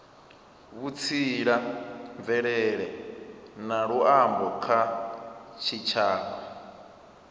vhutsila mvelele na luambo kha tshitshavha